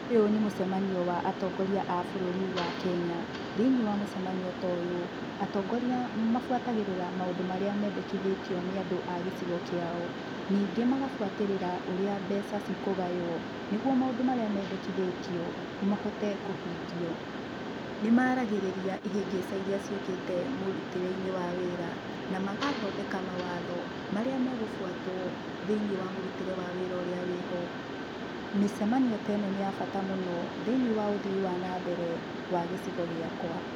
Ũyũ nĩ mũcemanio wa atongoria a bũrũri wa Kenya. Thĩiniĩ wa mũcemanio ta ũyũ atongoria mabuatagĩrĩra maũndũ marĩa mendekithĩtio nĩ andũ a gĩcigo kĩao nĩngĩ magabuatĩrĩra ũrĩa mbeca ci kũgaywo nĩguo maũndũ marĩa mendekithĩtio mahote kũhingio. Nĩ maragĩrĩria ihĩngĩca irĩa ciũkĩte mũrutĩre-inĩ wa wĩra na magathondeka mawatho marĩa megũbuatwo thĩiniĩ wa mũrutĩre wa wĩra ũrĩa wĩ ho. Mĩcemanio ta ĩno nĩ ya bata mũno thiĩniĩ wa ũthii wa na mbere wa gĩcigo gĩakwa.